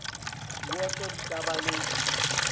diwoto di ka ba le